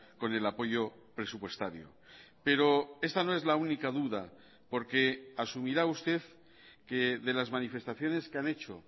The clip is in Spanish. con el apoyo presupuestario pero esta no es la única duda porque asumirá usted que de las manifestaciones que han hecho